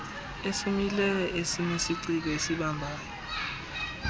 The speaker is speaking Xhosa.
esomileyo esinesiciko esibambayo